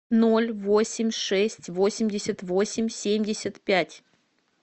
ноль восемь шесть восемьдесят восемь семьдесят пять